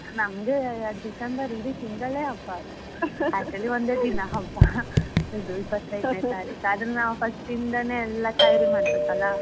ನಮ್ಗೆ December ಇಡೀ ತಿಂಗಳೇ ಹಬ್ಬ ಅದು . Actually ಒಂದೇ ದಿನ ಹಬ್ಬ ಇದು ಇಪ್ಪತೈದ್ನೆ ತಾರೀಕು ಆದ್ರೆ ನಾವ್ first ಇಂದನೆ ಎಲ್ಲ ತಯಾರಿ ಮಾಡ್ಬೇಕು ಅಲ್ಲ.